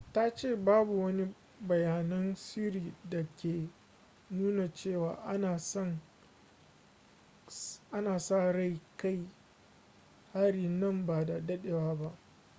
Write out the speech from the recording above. ta ce babu wani bayanan sirri da ke nuna cewa ana sa ran kai hari nan ba da dadewa ba